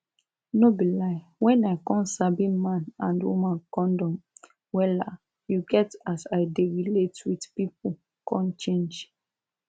no be lie when i come sabi man and woman condom wella you get as i dey relate with pipu come change